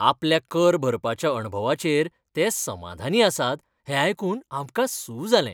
आपल्या कर भरपाच्या अणभवाचेर ते समाधानी आसात हें आयकून आमकां सू जालें.